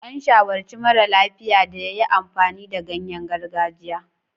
An shawarci mara lafiya da ya yi amfani da ganyen gargajiya.